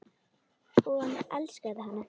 Og hann elskaði hana.